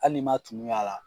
Hali n'i man tumu y'a la.